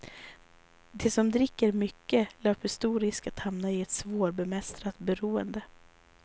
De som dricker mycket löper stor risk att hamna i ett svårbemästrat beroende.